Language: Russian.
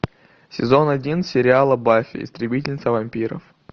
сезон один сериала баффи истребительница вампиров